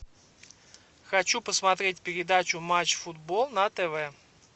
хочу посмотреть передачу матч футбол на тв